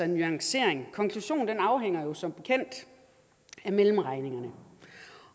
nuancering konklusionen afhænger som bekendt af mellemregningerne